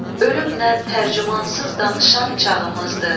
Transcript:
Ölümlə tərcümansız danışan çağımızdır.